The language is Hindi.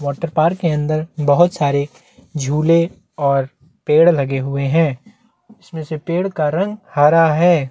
वॉटर पार्क के अंदर बहुत सारे झूले और पेड़ लगे हुए हैं इसमें से पेड़ का रंग हरा है।